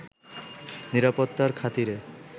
নিরাপত্তার খাতিরে